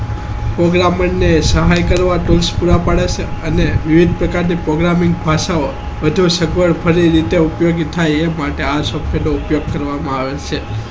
programmer અને સહાય કરવા પડે છે અને વિવિધ પ્રકારની programming ભાષાઓ વધુ સગવડ ફરી રીતે ઉપયોગી થાય એ માટે આ software નો ઉપયોગ કરવામાં આવે છે